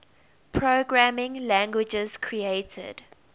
programming languages created